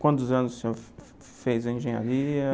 Quantos anos o senhor fez a engenharia?